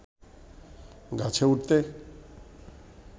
গাছে উঠতে